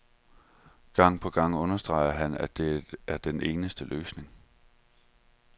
Gang på gang understreger han, at det er den eneste løsning.